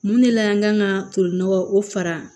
Mun de la an kan ka tolinɔgɔ o fara